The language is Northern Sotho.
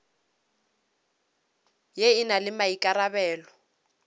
ye e na le maikarabelo